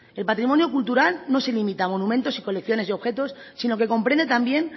el patrimonio cultural no se limita a monumentos y colecciones de objetos sino que comprende también